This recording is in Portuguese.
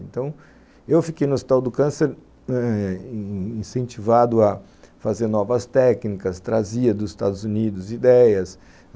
Então, eu fiquei no Hospital do Câncer eh incentivado a fazer novas técnicas, trazia dos Estados Unidos ideias.